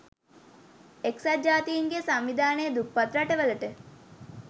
එක්සත් ජාතීන්ගේ සංවිධානය දුප්පත් රටවලට